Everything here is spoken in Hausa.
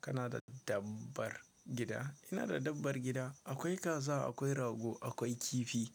Kana da dabbar gida? Ina da dabbar gida. Akwai kaza, akwai rago, akwai kifi